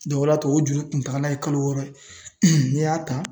o y'a to o juru kuntagala ye kalo wɔɔrɔ n'i y'a ta.